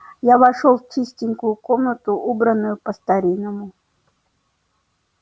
я вошёл в чистенькую комнатку убранную по-старинному